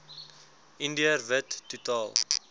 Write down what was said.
indiër wit totaal